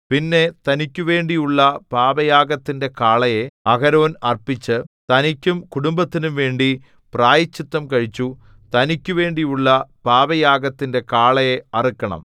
പിന്നെ തനിക്കുവേണ്ടിയുള്ള പാപയാഗത്തിന്റെ കാളയെ അഹരോൻ അർപ്പിച്ച് തനിക്കും കുടുംബത്തിനുംവേണ്ടി പ്രായശ്ചിത്തം കഴിച്ചു തനിക്കുവേണ്ടിയുള്ള പാപയാഗത്തിന്റെ കാളയെ അറുക്കണം